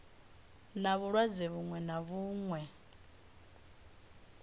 na vhulwadze vhuṅwe na vhuṅwe